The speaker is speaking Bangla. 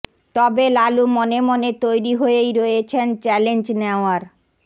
তবে লালু মনে মনে তৈরি হয়েই রয়েছেন চ্যালেঞ্জ নেওয়ার